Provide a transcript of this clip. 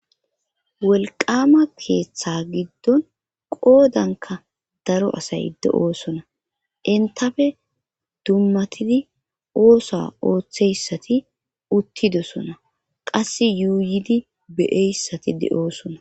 Wolqama keeththa giddon qoodanka daro asay de7oosona intafe dummatidi oosa ooththeyssati uttidosona qasse yuuyidi beyeyssati de7oosona